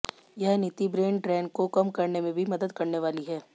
यह नीति brain drain को कम करने में भी मदद करने वाली है